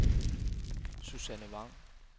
Susanne Vang